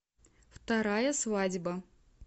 вторая свадьба